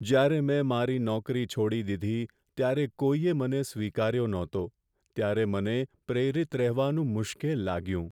જ્યારે મેં મારી નોકરી છોડી દીધી ત્યારે કોઈએ મને સ્વીકાર્યો ન હતો ત્યારે મને પ્રેરિત રહેવાનું મુશ્કેલ લાગ્યું.